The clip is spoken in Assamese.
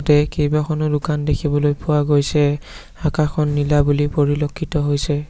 ইয়াতে কেইবাখনো দোকান দেখিবলৈ পোৱা গৈছে আকাশখন নীলা বুলি পৰিলক্ষিত হৈছে।